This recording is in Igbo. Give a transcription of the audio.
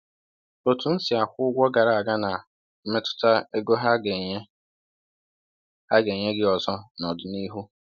Otu i si akwụ ụgwọ gara aga na-emetụta ego ha ga-enye ha ga-enye gị ọzọ n’ọdịnihu.